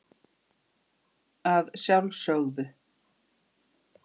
Að sjálf sögðu.